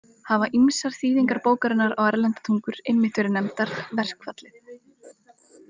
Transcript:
Hafa ýmsar þýðingar bókarinnar á erlendar tungur einmitt verið nefndar „Verkfallið“.